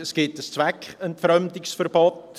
Es gibt ein Zweckentfremdungsverbot.